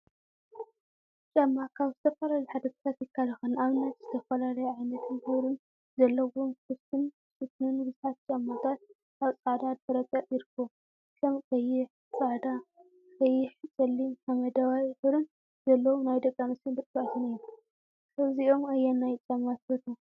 ጫማ ጫማ ካብ ዝተፈላለዩ ሓደጋታት ይከላከል፡፡ ንአብነት ዝተፈላለዩ ዓይነትን ሕብሪን ዘለዎም ክፍቲን ሽፉንን ቡዙሓት ጫማታት አብ ፃዕዳ ድሕረ ገፅ ይርከቡ፡፡ ከም ቀይሕ፣ ፃዕዳ፣ ቀይሕ፣ ፀሊምን ሓመደዋይ ሕብሪን ዘለዎም ናይ ደቂ አንስትዮን ደቂ ተባዕትዮን እዮም፡፡ ካብዚኦም አየናይ ጫማ ትፈትው?